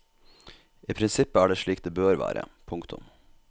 I prinsippet er det slik det bør være. punktum